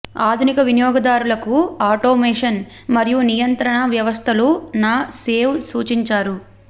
ఆధునిక వినియోగదారులకు ఆటోమేషన్ మరియు నియంత్రణ వ్యవస్థలు న సేవ్ సూచించారు